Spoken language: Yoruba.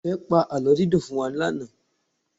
Ìfẹ́ pa àlọ́ dídùn fún wa lánàá.